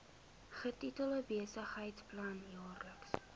getitel besigheidsplan jaarlikse